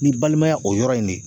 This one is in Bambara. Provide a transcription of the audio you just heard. N'i balimaya o yɔrɔ in ne